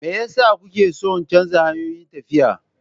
Me yasa kuke son canza hanyoyin tafiya.